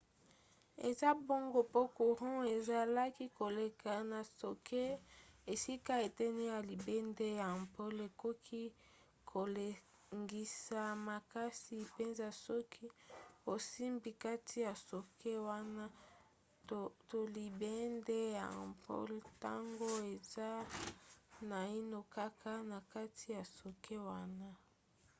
eza bongo po courant ezalaki koleka na socket esika eteni ya libende ya ampoule ekoki kolengisa makasi mpenza soki osimbi kati ya socket wana to libende ya ampoule ntango eza naino kaka na kati ya socket wana